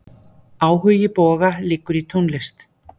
Áhugi Boga liggur í tónlist.